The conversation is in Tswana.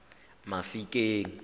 mafikeng